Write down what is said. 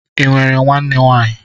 Ị nwere nwanne nwaanyị?